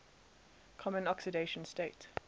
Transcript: common oxidation state